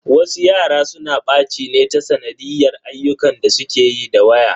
Wasu yara suna ɓaci ne ta sanadiyyar ayyukan da suke yi da waya.